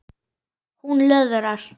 Hún löðrar.